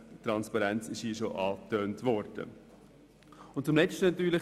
Transparenz wurde hier bereits angesprochen.